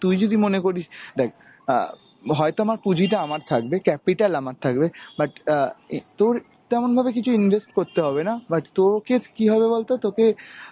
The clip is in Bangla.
তুই যদি মনে করিস, দেখ অ্যাঁ হয়তো আমার পুজিটা আমার থাকবে, capital আমার থাকবে but অ্যাঁ এ তোর তেমনভাবে কিছু ইনভেস্ট করতে হবে না but তোকে কি হবে বলতো তোকে